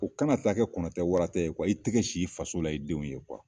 U ka na taa kɛ kɔnɔ tɛ wara tɛ ye. Wa i tɛgɛ sin i faso la i denw ye